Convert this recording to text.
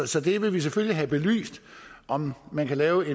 så vi vil selvfølgelig have belyst om man kan lave